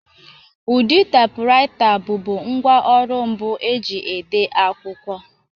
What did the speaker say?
Ụdị taipuraita bụbu ngwá ọrụ mbụ e ji ede akwụkwọ.